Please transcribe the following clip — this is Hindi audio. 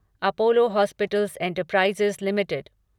Apollo Hospitals Enterprise limited